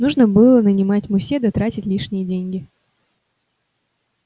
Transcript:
нужно было нанимать мусье да тратить лишние деньги